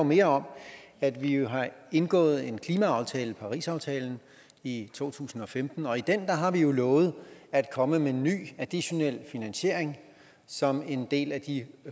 mere om at vi har indgået en klimaaftale parisaftalen i to tusind og femten og i den har vi jo lovet at komme med en ny additionel finansiering som en del af de